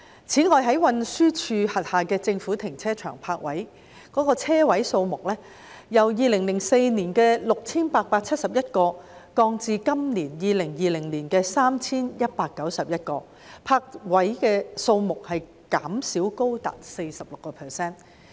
然而，運輸署轄下的政府停車場泊車位數目，卻由2004年的 6,871 個減少至今年的 3,191 個，泊車位數目的減幅高達 46%。